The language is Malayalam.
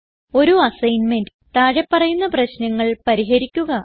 ഒരു അസ്സൈൻമെന്റ് താഴെ പറയുന്ന പ്രശ്നങ്ങൾ പരിഹരിക്കുക